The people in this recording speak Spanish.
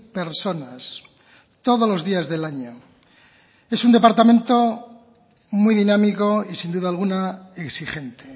personas todos los días del año es un departamento muy dinámico y sin duda alguna exigente